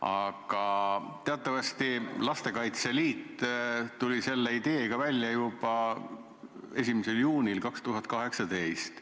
Aga teatavasti tuli Lastekaitse Liit selle ideega välja juba 1. juunil 2018.